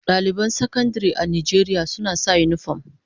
Daliban Sakandare a Najeriya suna sa unifom.